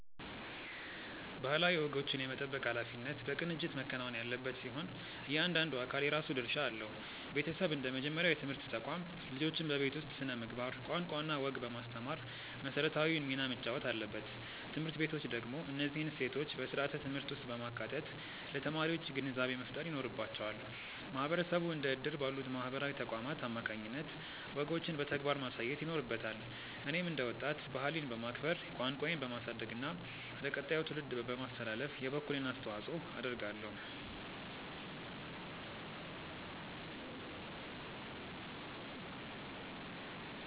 ባህላዊ ወጎችን የመጠበቅ ኃላፊነት በቅንጅት መከናወን ያለበት ሲሆን፣ እያንዳንዱ አካል የራሱ ድርሻ አለው። ቤተሰብ እንደ መጀመሪያው የትምህርት ተቋም፣ ልጆችን በቤት ውስጥ ስነ-ምግባር፣ ቋንቋና ወግ በማስተማር መሰረታዊውን ሚና መጫወት አለበት። ትምህርት ቤቶች ደግሞ እነዚህን እሴቶች በስርዓተ-ትምህርት ውስጥ በማካተት ለተማሪዎች ግንዛቤ መፍጠር ይኖርባቸዋል። ማህበረሰቡ እንደ እድር ባሉ ማህበራዊ ተቋማት አማካኝነት ወጎችን በተግባር ማሳየት ይኖርበታል። እኔም እንደ ወጣት፣ ባህሌን በማክበር፣ ቋንቋዬን በማሳደግና ለቀጣዩ ትውልድ በማስተላለፍ የበኩሌን አስተዋጽኦ አደርጋለሁ።